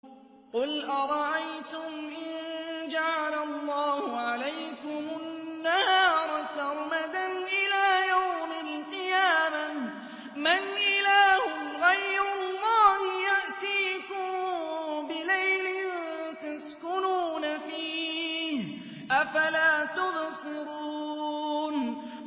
قُلْ أَرَأَيْتُمْ إِن جَعَلَ اللَّهُ عَلَيْكُمُ النَّهَارَ سَرْمَدًا إِلَىٰ يَوْمِ الْقِيَامَةِ مَنْ إِلَٰهٌ غَيْرُ اللَّهِ يَأْتِيكُم بِلَيْلٍ تَسْكُنُونَ فِيهِ ۖ أَفَلَا تُبْصِرُونَ